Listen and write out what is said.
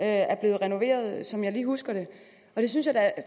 er blevet renoveret som jeg lige husker det og jeg synes da at